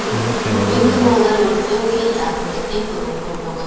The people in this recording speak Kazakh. өйткені олар өрттен кейін әкімдіктен көмек көрмеген